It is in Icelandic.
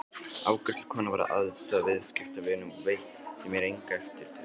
Afgreiðslukonan var að aðstoða viðskiptavin og veitti mér enga eftirtekt.